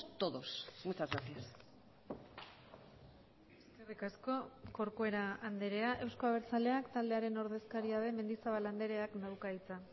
todos muchas gracias eskerrik asko corcuera andrea euzko abertzaleak taldearen ordezkaria den mendizabal andreak dauka hitza